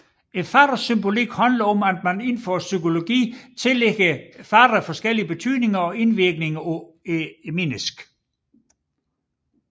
Farvernes symbolik handler om at man inden for psykologien tillægger man farver forskellige betydninger og indvirkninger på mennesket